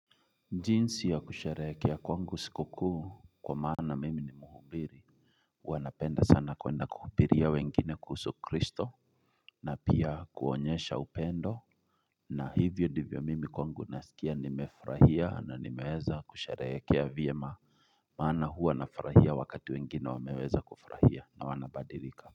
Jinsi ya kusherehekea kwangu siku kuu kwa maana mimi ni mhubiri huwa napenda sana kwenda kuhubiria wengine kuhusu Kristo na pia kuonyesha upendo na hivyo ndivyo mimi kwangu nasikia nimefurahia na nimeweza kusherehekea vyema maana huwa nafurahia wakati wengine wameweza kufurahia na wanabadilika kwa hivyo.